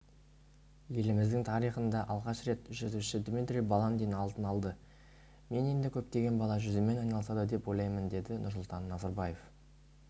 еліміздің тарихында алғаш рет жүзуші дмитрий баландин алтын алды мен енді көптеген бала жүзумен айналысады деп ойлаймын деді нұрсұлтан назарбаев